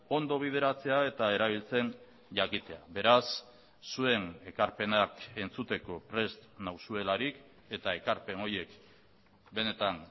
ondo bideratzea eta erabiltzen jakitea beraz zuen ekarpenak entzuteko prest nauzuelarik eta ekarpen horiek benetan